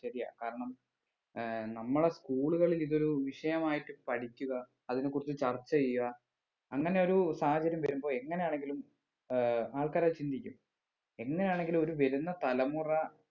ശരിയാ കാരണം ഏർ നമ്മടെ school കളിൽ ഇതൊരു വിഷയമായിട്ട് പഠിക്കുക അതിനെ കുറിച്ച് ചർച്ച ചെയ്യുക അങ്ങനെ ഒരു സാഹചര്യം വരുമ്പൊ എങ്ങനെ ആണെങ്കിലും ഏർ ആൾക്കാര് അത് ചിന്തിക്കും എന്നിനാണെങ്കിലും ഒരു വരുന്ന തലമുറ